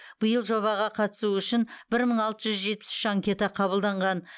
биыл жобаға қатысу үшін бір мың алты жүз жетпіс үш анкета қабылданған